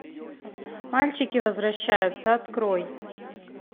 мальчики возвращаются открой